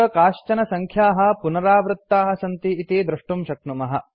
अत्र काश्चन सङ्ख्याः पुनरावृत्ताः सन्ति इति द्रष्टुं शक्नुमः